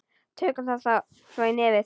Tökum þá svo í nefið!